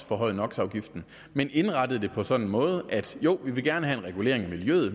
forhøjet nox afgiften men indrettet det på en sådan måde at selv om de gerne vil have en regulering af miljøet